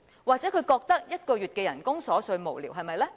或許他覺得1個月的薪酬是瑣碎無聊，對嗎？